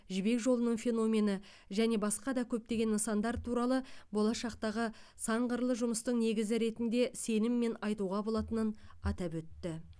жібек жолының феномені және басқа да көптеген нысандар туралы болашақтағы санқырлы жұмыстың негізі ретінде сеніммен айтуға болатынын атап өтті